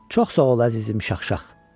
Çox sağ ol əzizim şaxşax.